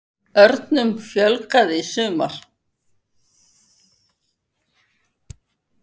Örnum fjölgaði í sumar